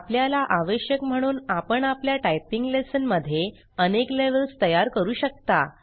आपल्याला आवश्यक म्हणून आपण आपल्या टाइपिंग लेसन मध्ये अनेक लेवेल्ज़ तयार करू शकता